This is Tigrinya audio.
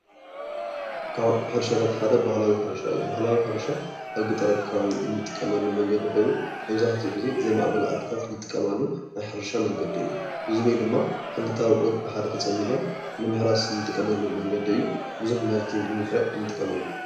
ካብ ሕርሻታት ሓደ ባህላዊ ሕርሻ እዩ፡፡ ባህላዊ ሕርሻ ኣብ ገጠር ኣከባቢ እንጥቀመሉ መንገዲ ኮይኑ መብዛሕቲኡ ግዜ ዘይማዕበላ ዓድታት ዝጥቀማሉ ናይ ሕርሻ መንገዲ እዩ፡፡ እዚ ድማ ክልተ ኣውዕር ብሓደ ተፀሚዶም ንምሕራስ እንጥቀመሎም መንገዲ እዩ። ብዙሕ ምህርቲ ንምፍራይ እንጥቀመሉ እዩ፡፡